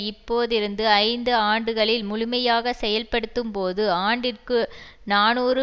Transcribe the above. இப்போதிருந்து ஐந்து ஆண்டுகளில் முழுமையாக செயல்படுத்தப்படும்போது ஆண்டிற்கு நாநூறு